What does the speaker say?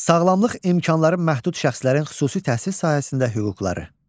Sağlamlıq imkanları məhdud şəxslərin xüsusi təhsil sahəsində hüquqları.